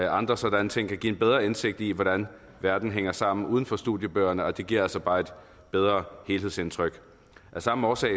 andre sådanne ting kan give en bedre indsigt i hvordan verden hænger sammen uden for studiebøgerne og det giver altså bare et bedre helhedsindtryk af samme årsag